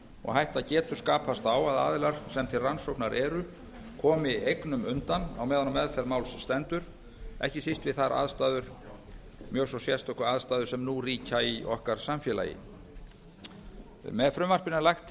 og hætta getur skapast á að aðilar sem til rannsóknar eru komi eignum undan á meðan á meðferð máls stendur ekki síst við þær mjög svo sérstöku aðstæður sem nú ríkja í okkar samfélagi með frumvarpinu er lagt